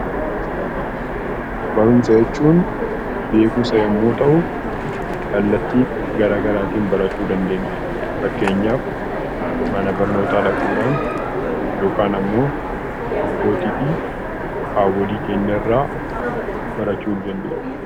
Barumsa jechuun beekumsa yeroo ta'u kallattii gara garaatiin barachuu dandeenya. Fakkeenyaaf mana barnootaa dhaquudhaan yookaan immoo abbootii fi haawwolii keenya irraa barachuu ni dandeenya.